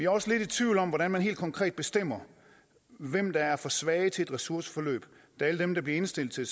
også lidt i tvivl om hvordan man helt konkret bestemmer hvem der er for svage til et ressourceforløb da alle dem der bliver indstillet til